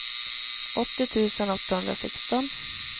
åttio tusen åttahundrasexton